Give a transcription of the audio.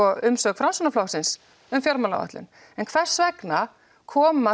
umsögn Framsóknarflokksins um fjármálaáætlun en hvers vegna koma